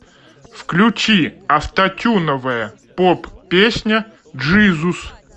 включи автотюновая поп песня джизус